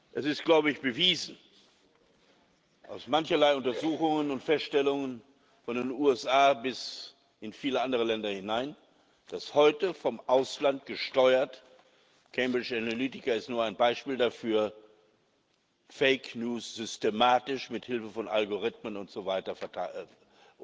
Es ist, glaube ich, bewiesen aus mancherlei Untersuchungen und Feststellungen von den USA bis in viele andere Länder hinein dass heute vom Ausland gesteuert Cambridge Analytica ist nur ein Beispiel dafür Fake News systematisch mithilfe von Algorithmen usw.